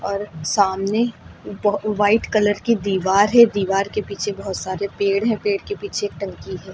और सामने ब व्हाइट कलर की दीवार है दीवार के पीछे बहोत सारे पेड़ है पेड़ के पीछे एक टंकी है।